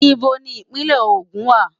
Íbo ni Ìpínlẹ̀ Ogun wà?